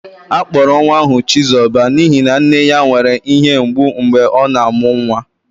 Akpọrọ nwa ahụ chizoba n'ihi na nne ya nwere ihe mgbu mgbe ọ na-amụ nwa